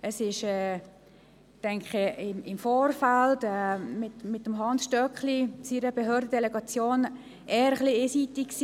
Im Vorfeld, mit der Behördendelegation von Hans Stöckli, war es eher etwas einseitig.